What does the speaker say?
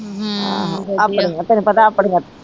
ਆਹ ਆਪਣੀ ਆ ਤੈਨੂੰ ਪਤਾ ਆਪਣੀ ਆ